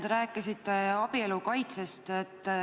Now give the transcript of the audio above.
Te rääkisite abielu kaitsest.